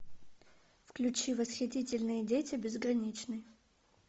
включи восхитительные дети безграничный